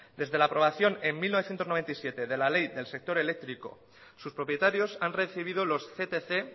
desde la aprobación en mil novecientos noventa y siete de la ley del sector eléctrico sus propietarios han recibido los ctc